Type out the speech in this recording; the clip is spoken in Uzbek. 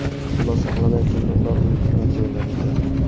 Xulosa qilib aytganda, ular unutilgan joylar edi.